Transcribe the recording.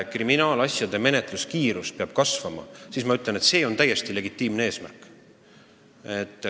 Kriminaalasjade menetlemise kiirus peab kasvama ja see on täiesti legitiimne eesmärk.